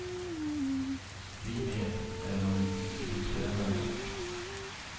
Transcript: Vi med, även om det inte tycks förändra något.